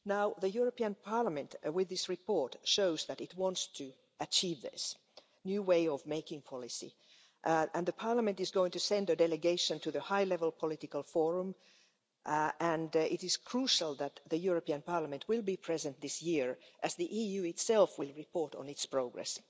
The European Parliament, with this report, shows that it wants to achieve this new way of making policy and Parliament is going to send a delegation to the high level political forum and it is crucial that the European Parliament will be present this year, as the EU itself will report on its progress.